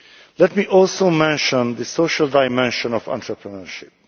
Let me also mention the social dimension of entrepreneurship.